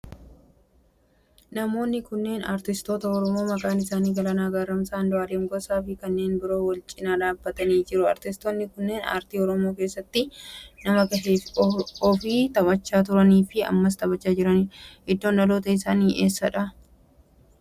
Namoonni kunneen aartistoota oromoo maqaan isaanii Galaanaa Gaaromsaa, Andu'aalem Gosaa fi kanneen biroo waal cinaa dhaabbatanii jiru. Aartistoonni kunneen aartii oromoo keessatti nama gahee ofi taphaachaa turanii fi ammas taphachaa jiranidha. Iddoon dhaloota isaanii eessadha?